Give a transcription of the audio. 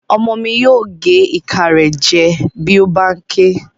Ọmọ mi yóò gé ìka rẹ̀ jẹ bí ó bá n ké